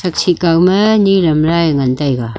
chih kawmae niram rae ngan taiga.